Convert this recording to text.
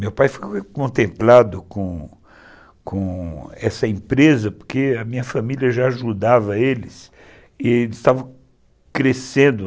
Meu pai foi contemplado com com com essa empresa porque a minha família já ajudava eles e eles estavam crescendo.